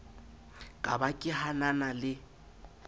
ka ba ke hanana le